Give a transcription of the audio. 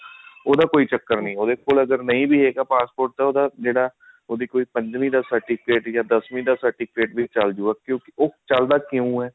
ਉਹਦਾ ਕੋਈ ਚੱਕਰ ਨੀ ਉਹਦੇ ਕੋਲ ਅਗਰ ਨਹੀਂ ਵੀ ਹੈਗਾ passport ਤਾਂ ਉਹਦਾ ਜਿਹੜਾ ਉਹਦੇ ਕੋਲ ਪੰਜਵੀਂ ਦਾ certificate ਯਾ ਦਸਵੀਂ ਦਾ certificate ਚਲ੍ਜੁਗਾ ਕਿਉਂਕਿ ਉਹ ਚੱਲਦਾ ਕਿਉਂ ਹੈ